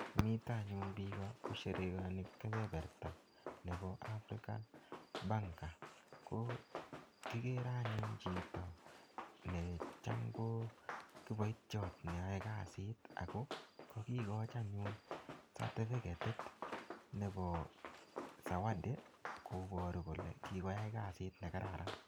nita anyun pika komite kosherekani kepereta ap africa banker. kikere anyun chitpo necham kokipaityat neae kaasit. kakikoch anyun certificatit nepo sawadi koparu kole kikwai kaasit negararan.